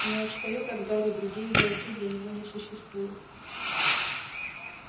не отстаёт от гарри другие игроки для него не существуют